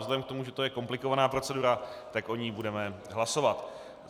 Vzhledem k tomu, že to je komplikovaná procedura, tak o ní budeme hlasovat.